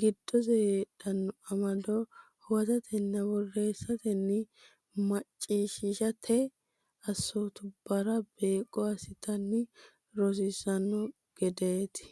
giddose heedhanno amado huwatatenna borreessatenna macciishshate assootubbara beeqqo assitanni rossanno gedeeti.